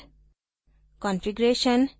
extend configuration